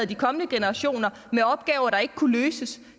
de kommende generationer